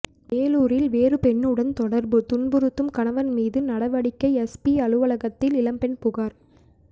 வேலூரில் வேறு பெண்ணுடன் தொடர்பு துன்புறுத்தும் கணவன் மீது நடவடிக்கை எஸ்பி அலுவலகத்தில் இளம்பெண் புகார்